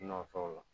Nɔtɛ o la